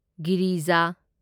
Girija